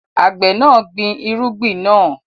Àgbẹ̀ náà ń gbin irúgbìn náà.